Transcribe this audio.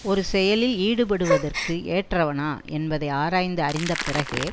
ஒரு செயலில் ஈடுபடுவதற்கு ஏற்றவனா என்பதை ஆராய்ந்து அறிந்த பிறகே